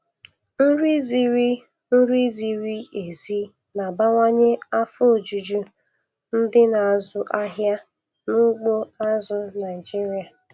Nri ziri Nri ziri ezi na-abawanye afọ ojuju ndị na-azụ ahịa n'ugbo azụ̀ Naịjiria.